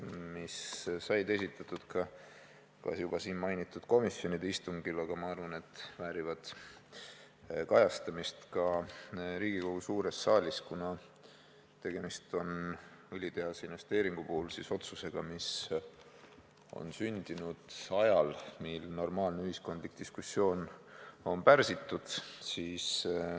Need said küll juba esitatud siin mainitud komisjonide istungil, aga ma arvan, et need väärivad kajastamist ka Riigikogu suures saalis, kuna õlitehase investeeringu puhul on tegemist otsusega, mis on sündinud ajal, kui normaalne ühiskondlik diskussioon on pärsitud.